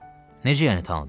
Necə yəni tanıdım?